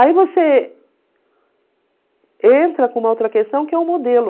Aí você entra com uma outra questão que é o modelo.